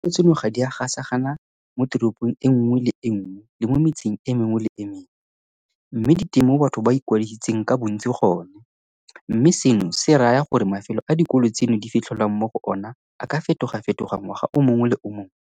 Dikolo tseno ga di a gasagana moteropong e nngwe le e nngwe le mo metseng e mengwe le e mengwe, mme di teng mo batho ba ikwadisitseng ka bontsi gone, mme seno se raya gore mafelo a dikolo tseno di fitlhelwang mo go ona a ka fetogafetoga ngwaga o mongwe le o mongwe.